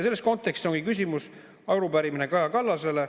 Selles kontekstis ongi arupärimine Kaja Kallasele.